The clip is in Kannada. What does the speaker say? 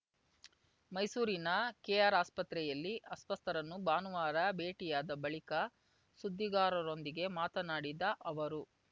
ಮೈಸೂರಿನ ಕೆಆರ್‌ಆಸ್ಪತ್ರೆಯಲ್ಲಿ ಅಸ್ವಸ್ಥರನ್ನು ಭಾನುವಾರ ಭೇಟಿಯಾದ ಬಳಿಕ ಸುದ್ದಿಗಾರರೊಂದಿಗೆ ಮಾತನಾಡಿದ ಅವರು